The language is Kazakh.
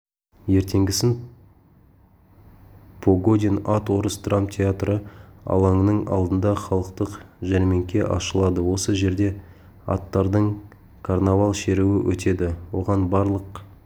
ертеңгісін погодин ат орыс драмтеатры алаңының алдында халықтық жәрмеңке ашылады осы жерде аттардың карнавал-шеруі өтеді оған барлық